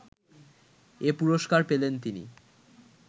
এ পুরস্কার পেলেন তিনি